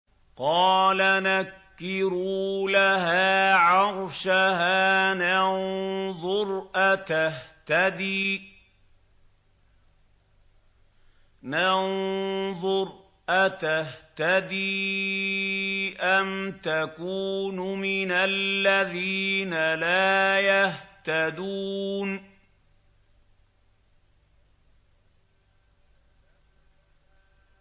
قَالَ نَكِّرُوا لَهَا عَرْشَهَا نَنظُرْ أَتَهْتَدِي أَمْ تَكُونُ مِنَ الَّذِينَ لَا يَهْتَدُونَ